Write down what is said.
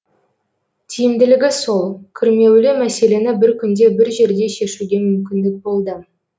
тиімділігі сол күрмеулі мәселені бір күнде бір жерде шешуге мүмкіндік болды